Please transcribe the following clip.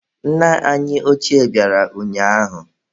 Nna anyị ochie bịara ụnyaahụ.